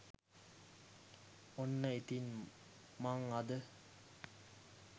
ඔන්න ඉතින් මං අද